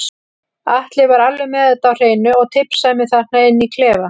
Atli var alveg með þetta á hreinu og tipsaði mig þarna inni í klefa.